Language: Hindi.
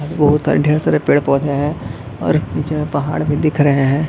और बहुत सारे ढ़ेर सारे पेड़-पौधे है और जो ये पहाड़ भी दिख रहे है ।